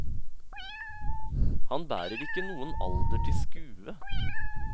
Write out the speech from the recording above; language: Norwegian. Han bærer ikke noen alder til skue.